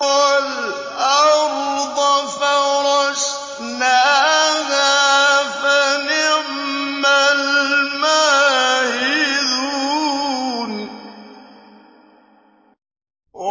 وَالْأَرْضَ فَرَشْنَاهَا فَنِعْمَ الْمَاهِدُونَ